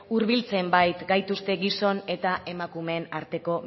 hurbiltzen baikaituzte gizon eta emakumeen arteko